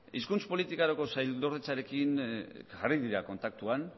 hizkuntz politikarako sailordetzarekin jarri dira kontaktuan